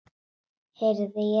Heyrði ég rétt.